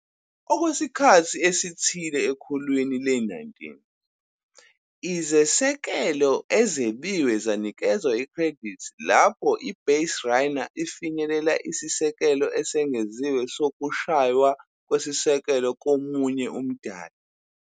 Okwesikhathi esithile ekhulwini le-19, izisekelo ezebiwe zanikezwa ikhredithi lapho i-baserunner ifinyelela isisekelo esengeziwe sokushaywa kwesisekelo komunye umdlali.